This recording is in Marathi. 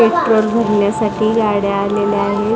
पेट्रोल भरण्यासाठी गाड्या आलेल्या आहेत.